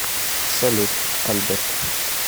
салют альберт